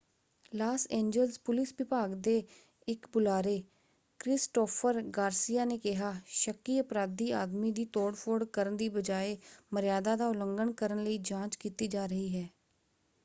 Las Angeles police ਵਿਭਾਗ ਦੇ ਇੱਕ ਬੁਲਾਰੇ ਕ੍ਰਿਸਟੋਫ਼ਰ ਗਾਰਸੀਆ ਨੇ ਕਿਹਾ ਸ਼ੱਕੀ ਅਪਰਾਧੀ ਆਦਮੀ ਦੀ ਤੋੜ-ਫੋੜ ਕਰਨ ਦੀ ਬਜਾਏ ਮਰਯਾਦਾ ਦਾ ਉਲੰਘਣ ਕਰਨ ਲਈ ਜਾਂਚ ਕੀਤੀ ਜਾ ਰਹੀ ਹੈ।